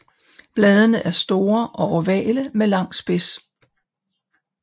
Bladene er store og ovale med lang spids